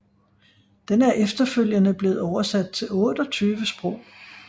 Den er efterfølgende blevet oversat til 28 sprog